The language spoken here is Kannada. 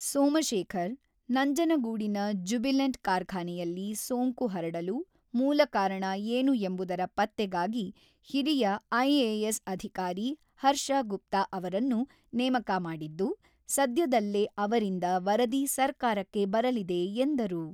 ಸೋಮಶೇಖರ್, ನಂಜನಗೂಡಿನ ಜ್ಯುಬಿಲೆಂಟ್ ಕಾರ್ಖಾನೆಯಲ್ಲಿ ಸೋಂಕು ಹರಡಲು ಮೂಲ ಕಾರಣ ಏನು ಎಂಬುದರ ಪತ್ತೆಗಾಗಿ ಹಿರಿಯ ಐಎಎಸ್ ಅಧಿಕಾರಿ ಹರ್ಷಗುಪ್ತ ಅವರನ್ನು ನೇಮಕ ಮಾಡಿದ್ದು, ಸದ್ಯದಲ್ಲೇ ಅವರಿಂದ ವರದಿ ಸರ್ಕಾರಕ್ಕೆ ಬರಲಿದೆ ಎಂದರು.